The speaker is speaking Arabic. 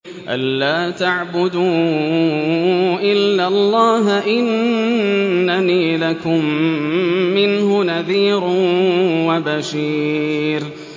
أَلَّا تَعْبُدُوا إِلَّا اللَّهَ ۚ إِنَّنِي لَكُم مِّنْهُ نَذِيرٌ وَبَشِيرٌ